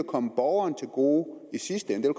komme borgeren til gode i sidste ende det